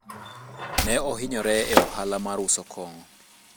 ne ohinyore e ohala mar uso kongo